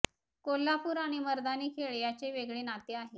कोल्हापूर आणि मर्दानी खेळ याचे वेगळे नाते आहे